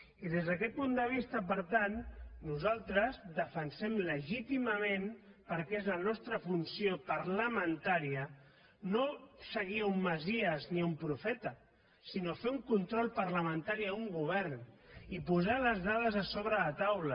i des d’aquest punt de vista per tant nosaltres defensem legítimament perquè és la nostra funció parlamentària no seguir un messies ni un profeta sinó fer un control parlamentari a un govern i posar les dades sobre la taula